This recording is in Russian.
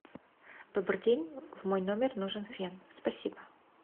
добрый день в мой номер нужен фен спасибо